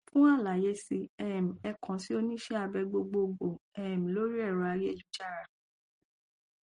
fún àlàyé sí um ẹ kàn sí oníṣẹ abẹ gbogboogbò um lórí ẹrọ ayélujára